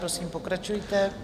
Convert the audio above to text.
Prosím, pokračujte.